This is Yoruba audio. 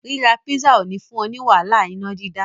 Ríra písà ò ní fún ọ ní wàhálà iná dídá.